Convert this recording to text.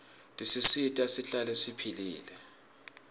tisisita sihlale siphilile